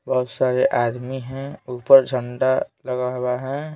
बहुत सारे आदमी हैं ऊपर झंडा लगा हुआ है।